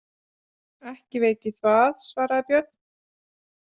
Ekki veit ég það, svaraði Björn.